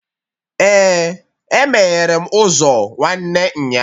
Ee, E meghere m ụzọ nwanne nya